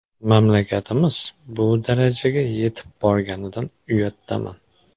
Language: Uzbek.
Mamlakatimiz bu darajaga yetib borganidan uyatdaman.